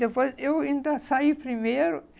Depois, eu ainda saí primeiro.